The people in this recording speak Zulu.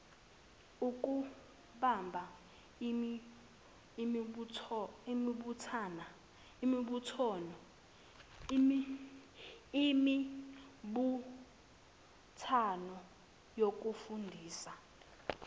ukubamba imibuthano yokufundisa